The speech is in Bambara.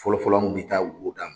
Fɔlɔ fɔlɔ an kun bɛ taa wo da